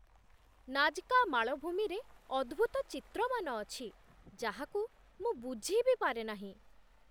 Nazca ମାଳଭୂମିରେ ଅଦ୍ଭୁତ ଚିତ୍ରମାନ ଅଛି, ଯାହାକୁ ମୁଁ ବୁଝି ବି ପାରେ ନାହିଁ!